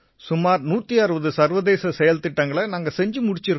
சுமார் 160 சர்வதேச செயல்திட்டங்களை நாங்க செஞ்சு முடிச்சிருக்கோம்